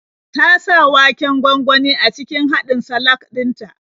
Ta sa waken gwangwani a cikin haɗin salak din ta.